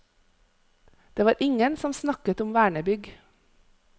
Det var ingen som snakket om vernebygg.